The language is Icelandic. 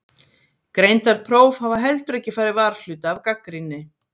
Greindarpróf hafa heldur ekki farið varhluta af gagnrýni.